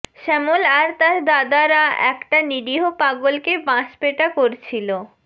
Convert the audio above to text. শ্যামল আর তার দাদারা একটা নিরীহ পাগলকে বাঁশপেটা করছিল